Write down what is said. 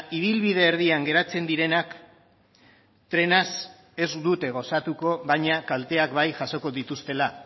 ibilbide erdian geratzen direnak trenaz ez dute gozatuko baina kalteak bai jasoko dituztela